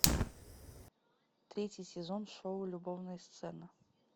третий сезон шоу любовная сцена